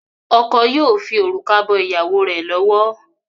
Oko yíò fí orúkọ bó ìyàwó rẹ lọwọ.